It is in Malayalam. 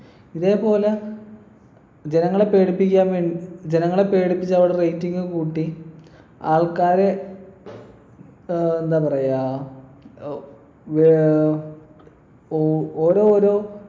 ഇതേപോലെ ജനങ്ങളെ പേടിപ്പിക്കാൻ വേണ്ടി ജനങ്ങളെ പേടിച്ച് അവരുടെ rating കൂട്ടി ആൾക്കാരെ ഏർ എന്താ പറയാ ഏർ ഏർ ഓ ഓരോ ഓരോ